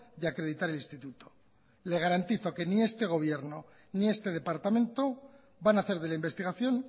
de acreditar el instituto le garantizo que ni este gobierno ni este departamento van a hacer de la investigación